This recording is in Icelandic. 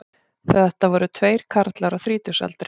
Þetta voru tveir karlar á þrítugsaldri